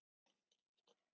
Ekki ef þú kæmir.